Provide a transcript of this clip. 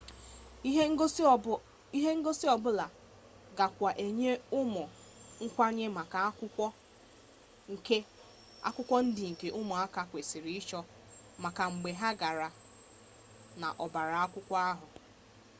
ihe ngosi ọbụla gakwa enye ụmụ nkwanye maka akwụkwọ ndị nke ụmụaka kwesịrị ịchọ maka mgbe ha gara n'ọbaakwụkwọ ha